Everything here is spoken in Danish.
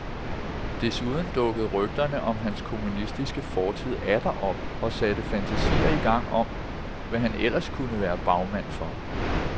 Desuden dukkede rygterne om hans kommunistiske fortid atter op og satte fantasier i gang om, hvad han ellers kunne være bagmand for.